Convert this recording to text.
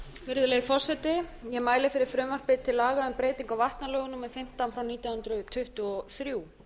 virðulegi forseti ég mæli fyrir frumvarpi til laga um breytingu á vatnalögum númer fimmtán nítján hundruð tuttugu og þrjú